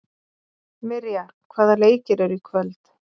Mirja, hvaða leikir eru í kvöld?